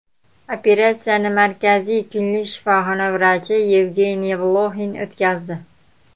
Operatsiyani Markaziy klinik shifoxona vrachi Yevgeniy Bloxin o‘tkazdi.